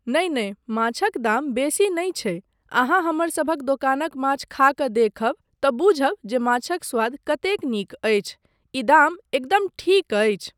नहि नहि माछक दाम बेसी नहि छै, अहाँ हमरसभक दोकानक माछ खा कऽ देखब तँ बूझब जे माछक स्वाद कतेक नीक अछि, ई दाम एकदम ठीक अछि।